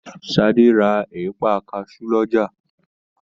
Sadé ra ẹ̀pà kasu lọ́jà.